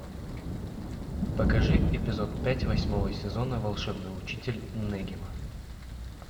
покажи эпизод пять восьмого сезона волшебный учитель нэгима